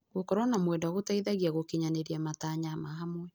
Gũkorwo na mwendwa gũteithagia gũkinyanĩria matanya ma hamwe.